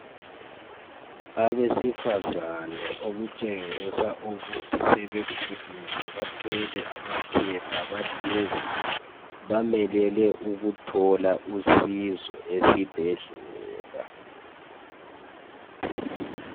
Abesifazane okutshengisa ukuthi sebekhulile bathwele amaphepha bahlezi bamelele ukuthola usizo esibhedlela.